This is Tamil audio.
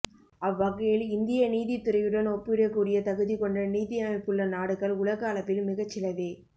அவ்வகையில் இந்திய நீதித்துறையுடன் ஒப்பிடக்கூடிய தகுதிகொண்ட நீதியமைப்புள்ள நாடுகள் உலக அளவில் மிகச்சிலவே